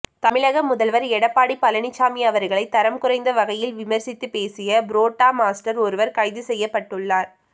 தமிழக முதல்வர் எடப்பாடி பழனிச்சாமி அவர்களை தரம் குறைந்த வகையில் விமர்சித்து பேசிய புரோட்டா மாஸ்டர் ஒருவர் கைது செய்யப்பட்டுள்ளார்